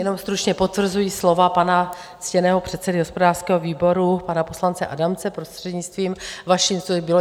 Jenom stručně potvrzuji slova pana ctěného předsedy hospodářského výboru, pana poslance Adamce, prostřednictvím vaším, co bylo.